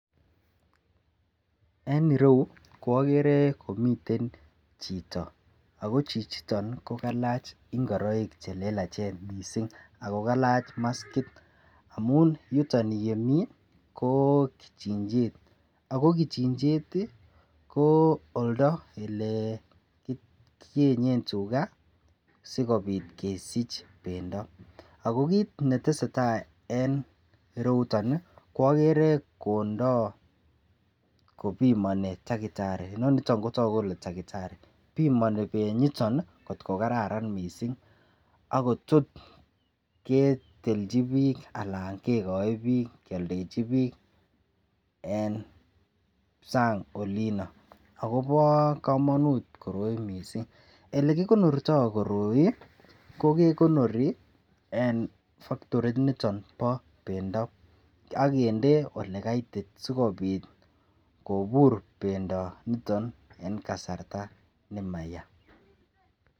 En ireyu kwagere komiten Chito ako Chichiton kokalach ingoroik chelelachen mising akokalach maskit amun yuton yemii kobkichinchet ako kichinchet ii kooldo yelekiyenyen tuga sikobit keisto kesich bendo ako kit netesetai en ireyu ko agere Kondo akobimoni takitari benyiton kotkokararan mising akotaku ketilda anan kiyalda en bucharit akobo kamanut mising ako yelekikonorto koroi ko kekonori en factorit niton ba bendobagende olekaitit sikobit kobur bendo niton en kasarian nemayaa